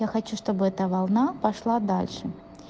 я хочу чтобы это волна пошла дальше